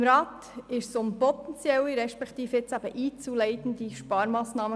Im Rat ging es um potenzielle beziehungsweise einzuleitende Sparmassnahmen.